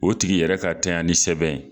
O tigi yɛrɛ ka tanyani sɛbɛn.